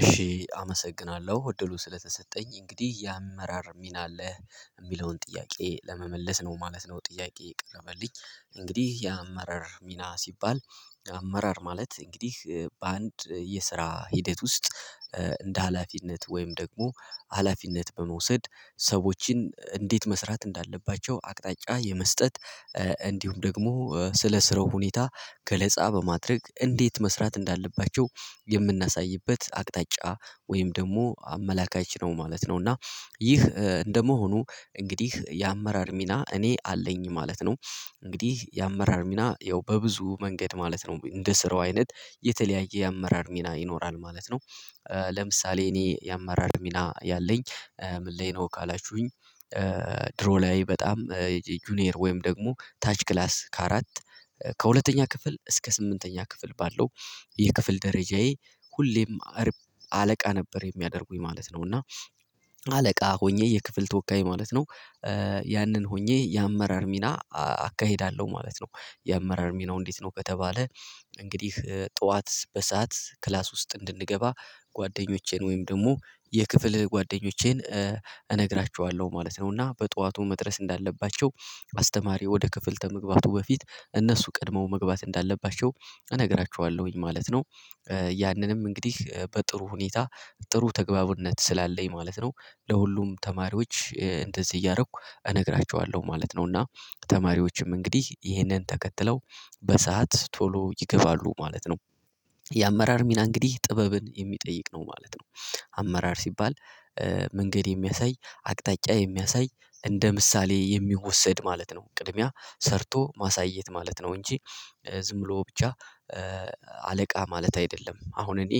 እሺ አመሰግናለሁ እድሉ ስለተሰጠኝ። እንግዲህ የአመራር ሚና አለህ? የሚለውን ጥያቄ ለመመለስ ነው ማለት ነው ጥያቄ የቀረበልኝ። እንግዲህ የአመራር ሚና ሲባል የአመራር ማለት እንግዲህ በአንድ የስራ ሂደት ውስጥ እንደ ሀላፊነት ወይም ደግሞ ሀላፊነት በመውሰድ ሰዎችን እንዴት መስራት እንዳለባቸው አቅጣጫ የመስጠት እንዲሁም ደግሞ ስለ ስራው ሁኔታ ገለጻ በማድረግ እንዴት መስራት እንዳለባቸው የምናሳይበት አቅጣጫ ወይም ደግሞ አመላካች ነው ማለት ነው። እና ይህ እንደመሆኑ እንግዲህ የአመራር ሚና እኔ አለኝ ማለት ነው። እንግዲህ የአመራር ሚና ያው በብዙ መንገድ ማለት ነው እንደ ስራው አይነት የተለያየ የአመራር ሚና ይኖራል ማለት ነው። ለምሳሌ እኔ የአመራር ሚና ያለኝ ምን ላይ ነው? ካላችሁኝ ድሮ ላይ በጣም ጁኒየር ወይም ደግሞ ታች ክላስ ከአራት ከሁለተኛ ክፍል እስከ ስምንተኛ ክፍል ባለው የክፍል ደረጃዬ ሁሌም አርብ አለቃ ነበር የሚያደርጉኝ ማለት ነው። እና አለቃ ሆኜ የክፍል ተወካይ ማለት ነው ያንን ሆኜ የአመራር ሚና አካሄዳለሁ ማለት ነው። የአመራር ሚናው እንዴት ነው ከተባለ እንግዲህ ጠዋት በሰአት ክላስ ውስጥ እንድንገባ ጓደኞቼን ወይም ደግሞ የክፍል ጓደኞቼን እነግራችኋለሁ ማለት ነው። እና በጧቱ መድረስ እንዳለባቸው አስተማሪ ወደ ክፍል ተመግባቱ በፊት እነሱ ቀድሞ መግባት እንዳለባቸው እነግራችኋለሁኝ ማለት ነው። ያንንም እንግዲህ በጥሩ ሁኔታ ጥሩ ተግባቡነት ስላለኝ ማለት ነው ለሁሉም ተማሪዎች እንደዚህ እያረኩ እነግራችኋለሁ ማለት ነው። እና ተማሪዎችም እንግዲህ ይህንን ተከትለው በሰአት ቶሎ ይገባሉ ማለት ነው። የአመራር ሚና እንግዲህ ጥበብን የሚጠይቅ ነው ማለት ነው። አመራር ሲባል መንገድ የሚያሳይ አቅጣጫ የሚያሳይ እንደ ምሳሌ የሚወሰድ ማለት ነው። ቅድሚያ ሰርቶ ማሳየት ማለት ነው እንጂ ዝም ብሎ ብቻ አለቃ ማለት አይደለም። አሁን እኔ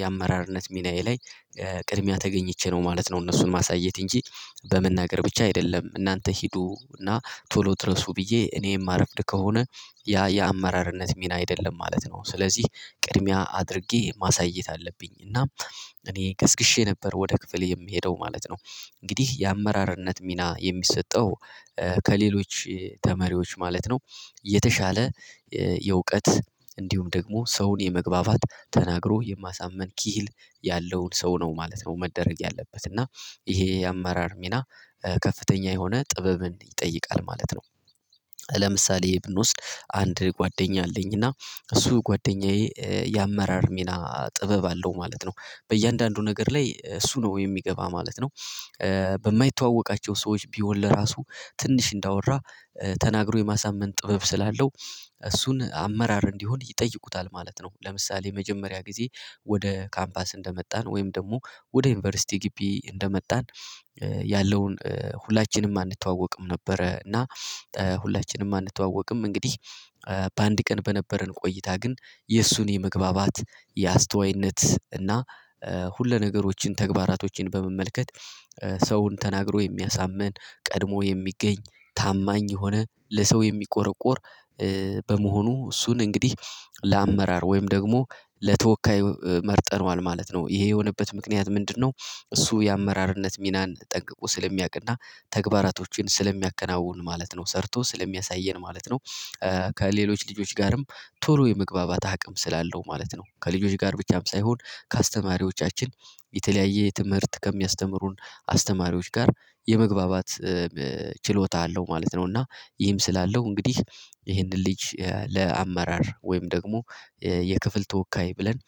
የአመራርነት ሚናዬ ላይ ቅድሚያ ተገኝቼ ነው ማለት ነው እነሱን ማሳየት እንጂ በመናገር ብቻ አይደለም። እናንተ ሂዱ እና ቶሎ ድረሱ ብዬ እኔ የማረፍድ ከሆነ ያ የአመራርነት ሚና አይደለም ማለት ነው። ስለዚህ ቅድሚያ አድርጌ ማሳየት አለብኝ። እና እኔ ቀስቅሼ ነበር ወደ ክፍሌ የምሄደው ማለት ነው። እንግዲህ የአመራርነት ሚና የሚሰጠው ከሌሎች ተመሪዎች ማለት ነው የተሻለ የእውቀት እንዲሁም ደግሞ ሰውን የመግባባት ተናግሮ የማሳምን ኪህል ያለውን ሰው ነው ማለት ነው መደረግ ያለበት። እና ይሄ የአመራር ሚና ከፍተኛ የሆነ ጥበብን ይጠይቃል ማለት ነው። ለምሳሌ ብንወስድ አንድ ጓደኛ አለኝ። እና እሱ ጓደኛዬ የአመራር ሚና ጥበብ አለው ማለት ነው። በእያንዳንዱ ነገር ላይ እሱ ነው የሚገባ ማለት ነው። በማይተዋወቃቸው ሰዎች ቢሆን ለራሱ ትንሽ እንዳወራ ተናግሮ የማሳመን ጥበብ ስላለው እሱን አመራር እንዲሆን ይጠይቁታል ማለት ነው። ለምሳሌ የመጀመሪያ ጊዜ ወደ ካምፓስ እንደመጣን ወይም ደግሞ ወደ ዩኒቨርሲቲ ግቢ እንደመጣን ያለውን ሁላችንም አንተዋወቅም ነበረ። እና ሁላችንም አንተዋወቅም እንግዲህ በአንድ ቀን በነበረን ቆይታ ግን የእሱን የመግባባት የአስተዋይነት እና ሁለነገሮችን ተግባራቶችን በመመልከት ሰውን ተናግሮ የሚያሳምን ቀድሞ የሚገኝ ታማኝ የሆነ ለሰው የሚቆረቁር በመሆኑ እሱን እንግዲህ ለአመራር ወይም ደግሞ ለተወካይ መርጠነዋል ማለት ነው። ይሄ የሆነበት ምክንያት ምንድነው? እሱ የአመራርነት ሚናን ጠንቅቆ ስለሚያውቅና ተግባራቶችን ስለሚያከናውን ማለት ነው። ሰርቶ ስለሚያሳየን ማለት ነው። ከሌሎች ልጆች ጋርም ቶሎ የመግባባት አቅም ስላለው ማለት ነው። ከልጆች ጋር ብቻም ሳይሆን ከአስተማሪዎቻችን የተለያየ የትምህርት ከሚያስተምሩን አስተማሪዎች ጋር የመግባባት ችሎታ አለው ማለት ነው። እና ይህም ስላለው እንግዲህ ይህንን ልጅ ለአመራር ወይም ደግሞ የክፍል ተወካይ ብለን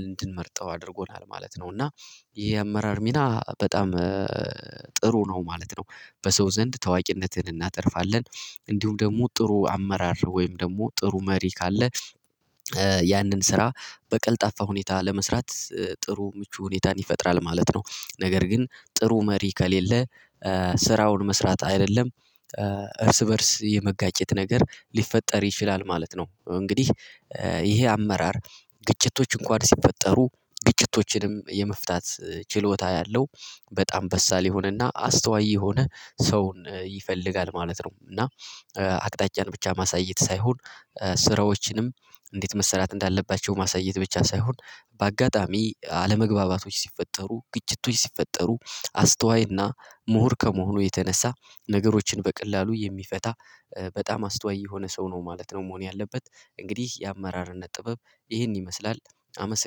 እንድንመርጠው አድርጎናል ማለት ነው። እና ይሄ የአመራር ሚና በጣም ጥሩ ነው ማለት ነው። በሰው ዘንድ ታዋቂነትን እናተርፋለን። እንዲሁም ደግሞ ጥሩ አመራር ወይም ደግሞ ጥሩ መሪ ካለ ያንን ስራ በቀልጣፋ ሁኔታ ለመስራት ጥሩ ምቹ ሁኔታን ይፈጥራል ማለት ነው። ነገር ግን ጥሩ መሪ ከሌለ ስራውን መስራት አይደለም እርስ በእርስ የመጋጨት ነገር ሊፈጠር ይችላል ማለት ነው። እንግዲህ ይሄ አመራር ግጭቶች እንኳን ሲፈጠሩ ግጭቶችንም የመፍታት ችሎታ ያለው በጣም በሳል የሆነና አስተዋይ የሆነ ሰውን ይፈልጋል ማለት ነው። እና አቅጣጫን ብቻ ማሳየት ሳይሆን ስራዎችንም እንዴት መሰራት እንዳለባቸው ማሳየት ብቻ ሳይሆን በአጋጣሚ አለመግባባቶች ሲፈጠሩ ግጭቶች ሲፈጠሩ አስተዋይና ምሁር ከመሆኑ የተነሳ ነገሮችን በቀላሉ የሚፈታ በጣም አስተዋይ የሆነ ሰው ነው ማለት ነው መሆን ያለበት። እንግዲህ የአመራርነት ጥበብ ይህን ይመስላል። አመሰግናለሁ።